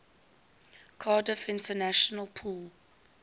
cardiff international pool